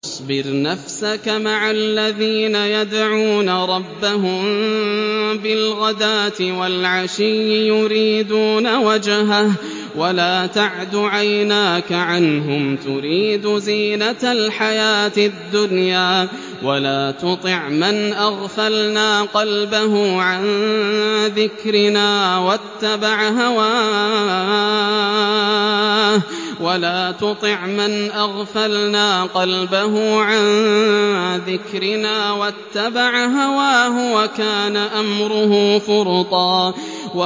وَاصْبِرْ نَفْسَكَ مَعَ الَّذِينَ يَدْعُونَ رَبَّهُم بِالْغَدَاةِ وَالْعَشِيِّ يُرِيدُونَ وَجْهَهُ ۖ وَلَا تَعْدُ عَيْنَاكَ عَنْهُمْ تُرِيدُ زِينَةَ الْحَيَاةِ الدُّنْيَا ۖ وَلَا تُطِعْ مَنْ أَغْفَلْنَا قَلْبَهُ عَن ذِكْرِنَا وَاتَّبَعَ هَوَاهُ وَكَانَ أَمْرُهُ فُرُطًا